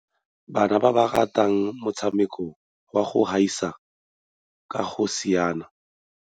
Bana ba rata motshamekô wa go gaisana ka go siana.